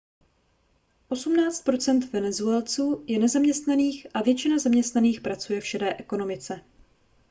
osmnáct procent venezuelců je nezaměstnaných a většina zaměstnaných pracuje v šedé ekonomice